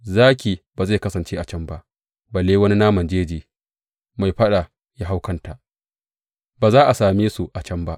Zaki ba zai kasance a can ba, balle wani naman jeji mai faɗa ya haura kanta; ba za a same su a can ba.